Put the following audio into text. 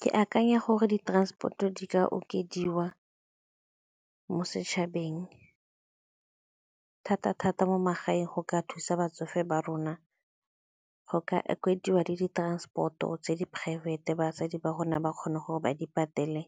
Ke akanya gore di-transport-o di ka okediwa mo setšhabeng, thata-thata mo magaeng go ka thusa batsofe ba rona go ka oketsiwa le di-transport-o tse di-private-e batsadi ba rona ba kgone gore ba di patele,